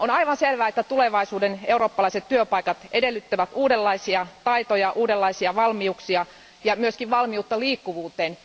On aivan selvää, että tulevaisuuden eurooppalaiset työpaikat edellyttävät uudenlaisia taitoja, uudenlaisia valmiuksia ja myös valmiutta liikkuvuuteen.